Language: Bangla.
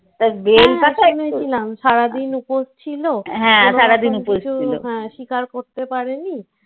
সারাদিন উপোস ছিল কোনোকিছু শিকার করতে পারেনি ।